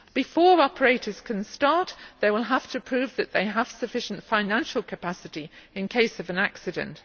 Before operators can start, they will have to prove that they have sufficient financial capacity in case of an accident.